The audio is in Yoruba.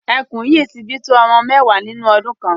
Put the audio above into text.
Ẹkùn yìí ti bi tó ọmọ mẹ́wàá nínú ọdun kan.